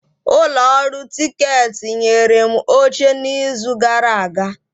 Ụlọ ọrụ tiketi nyere m oche n'izu gara aga.